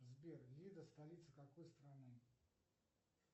сбер лида столица какой страны